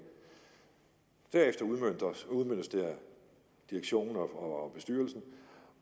derefter udmøntes det af direktionen og bestyrelsen